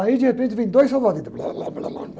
Aí, de repente, vem dois salva-vidas.